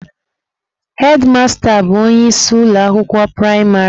Hedmasta bụ onye isi ụlọ akwụkwọ praịmarị.